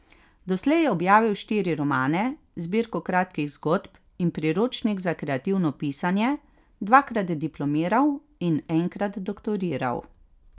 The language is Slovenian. Doslej je objavil štiri romane, zbirko kratkih zgodb in priročnik za kreativno pisanje, dvakrat diplomiral in enkrat doktoriral.